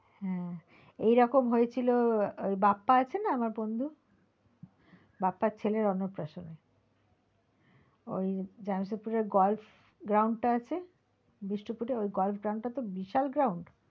হ্যাঁ এইরকম হয়েছিল বাপ্পা আছে না আমার বন্ধু বাপ্পার ছেলের অন্নপ্রাশনে ওই জামসেদপুরের golf ground টা আছে বিষ্টুপুরে ওই golf groun টা তো বিশাল ground